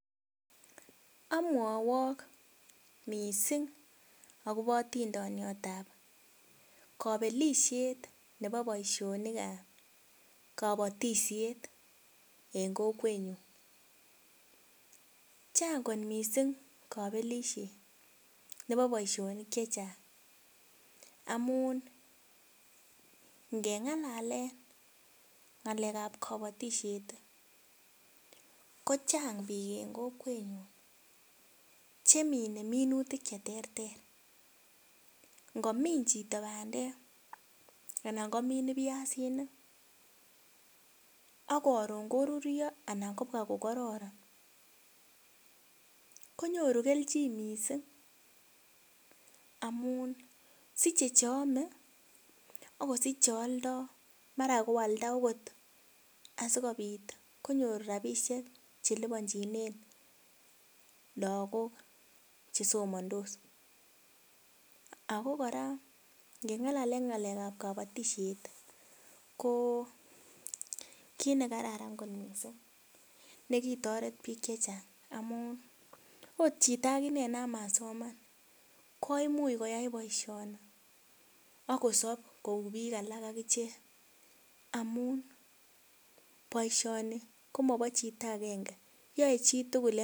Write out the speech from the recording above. Amwowok mising akobo atindoniotab kabelisiet nebo boisionikab kabatisiet eng kokwenyu, chang kot mising kabelisiet nebo boisionik che chang amun, ngengalalen ngalekab kabatisiet ii, kochang piik eng kokwenyu che mine minutik che terter, ngomin chito bandek anan komin piasinik ak karon koruryo anan kobwa ko kororon, konyoru kelchin mising amun siche che ame ak kosich che aldoi, mara koalda akot asikobit konyor rabiisiek che liponchinen lagok che somandos, ako kora ngengalale ngalekab kkabatisiet ii, ko kiit ne kararan kot mising ne kitoret piik che chang amun, ot chito akine no masoman koimuch koyai boisioni ak kosop kou piik alak ak ichek, amun boisioni ko mobo chito akenge yoe chi tugul...